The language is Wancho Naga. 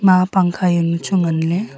emma pangkha yao nu chu ngan ley.